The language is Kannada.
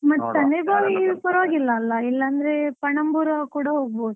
ಬಾವಿ ಪರ್ವಾಗಿಲ್ಲ ಅಲ್ಲಾ, ಇಲ್ಲಾ ಅಂದ್ರೆ ಪಣಂಬೂರ್ಗು ಕೂಡ ಹೊಗ್ಬೋದು.